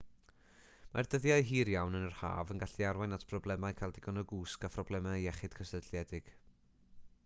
mae'r dyddiau hir iawn yn yr haf yn gallu arwain at broblemau cael digon o gwsg a phroblemau iechyd cysylltiedig